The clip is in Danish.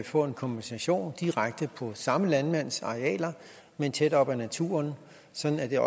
få en kompensation direkte på samme landmands arealer men tæt op ad naturen sådan